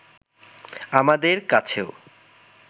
আমাদের কাছেও